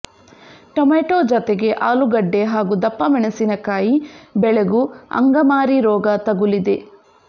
tomato ಜತೆಗೆ ಆಲೂಗಡ್ಡೆ ಹಾಗೂ ದಪ್ಪ ಮೆಣಸಿನಕಾಯಿ ಬೆಳೆಗೂ ಅಂಗಮಾರಿ ರೋಗ ತಗುಲಿದೆ